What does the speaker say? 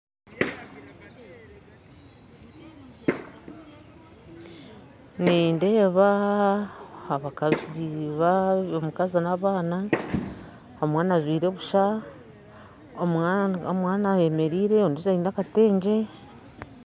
Nindeeba abakazi omukazi na abaana omwana ajwaire busha omwana ayemereire ondiijo aine akatengye